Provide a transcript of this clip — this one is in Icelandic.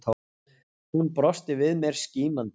Hún brosti við mér, skínandi.